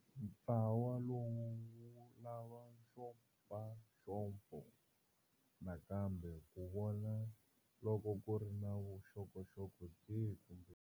Ntlawa lowu wu lava nxopanxopo nakambe ku vona loko ku ri na vuxokoxoko byihi kumbe.